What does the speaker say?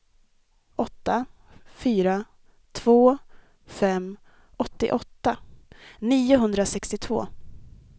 åtta fyra två fem åttioåtta niohundrasextiotvå